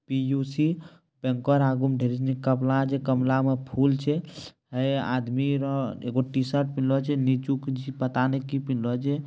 PUC bank और आगुम धेरी सनी गमला छे गमला मा फूल छे| ऐ आदमी रो एगो टीशर्ट पेहनलो छे नीचु कुछ पता नहीं की पिहनलो छे।